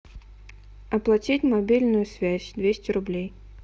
оплатить мобильную связь двести рублей